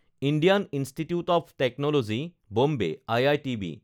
Indian Institute of Technology Bombay (IITB)